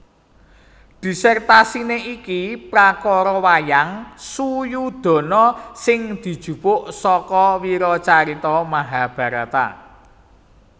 Dhisertasiné iki prakara wayang Suyodana sing dijupuk saka wiracarita Mahabharata